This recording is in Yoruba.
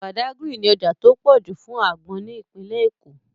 Badagry ní ọjà tó pọ̀ jù fún àgbọn ní ìpínlẹ̀ Èkó